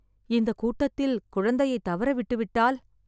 இந்த கூட்டத்தில் குழந்தையைத் தவறவிட்டுவிட்டால்....